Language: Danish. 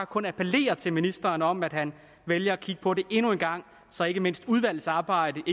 kun appellere til ministeren om at han vælger at kigge på det endnu en gang så ikke mindst udvalgsarbejdet